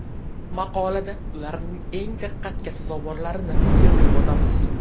Maqolada ularning eng diqqatga sazovorlarini keltirib o‘tamiz.